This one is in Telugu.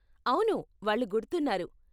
అవును, వాళ్ళు గుర్తున్నారు.